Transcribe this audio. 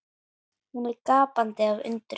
Hún er gapandi af undrun.